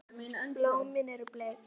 Blómin eru bleik.